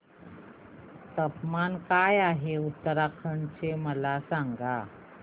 तापमान काय आहे उत्तराखंड चे मला सांगा